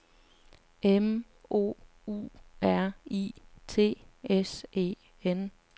M O U R I T S E N